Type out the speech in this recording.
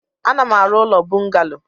Ana m arụ ụlọ bungalo.